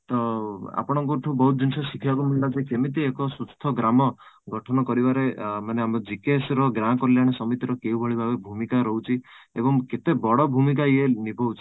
ଅଂ ଆପଣଙ୍କ ଠୁ ବହୁତ ଜିନିଷ ଶିଖିବାକୁ ମିଳିଲା ଯେ କେମିତି ଏକ ସୁସ୍ଥ ଗ୍ରାମ ଗଠନ କରିବାରେ ଅଂ ଆମ GKS ର ଗାଁ କଲ୍ୟାଣ ସମିତି ର କେଉଁ ଭଳି ଭାବେ ଭୂମିକା ରହୁଛି ଏବଂ କେତେ ବଡ ଭୂମିକା ଇୟେ ନିଭଉଛି